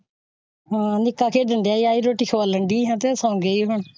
ਹਾਂ ਨਿੱਕਾ ਖੇਡਣ ਡਯਾ ਰੋਟੀ ਡਾਇ ਹਾਂ ਤੇ ਸੋ ਗਈ ਹਾਂ।